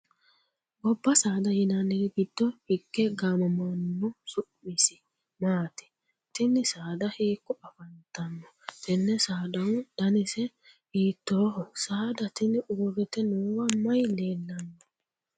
Gobba saada yinanniri gido hige gaamamano su'misi maati? Tinni saada hiiko afantano? Tenne saadahu dannise hiitooho? Saada tinni uurite noowa mayi leelano?